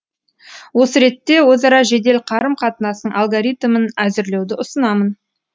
осы ретте өзара жедел қарым қатынастың алгоритімін әзірлеуді ұсынамын